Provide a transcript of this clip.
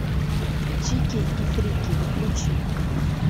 чики и фрики включи